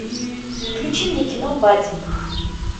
включи мне кино бадди